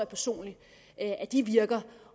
personligt virker